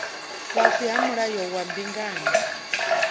fhasi ha mulayo wa mbingano